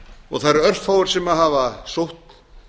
og það eru örfáir sem hafa sótt